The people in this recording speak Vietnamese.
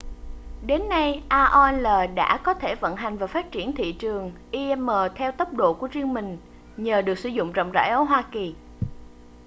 đến nay aol đã có thể vận hành và phát triển thị trường im theo tốc độ của riêng mình nhờ được sử dụng rộng rãi ở hoa kỳ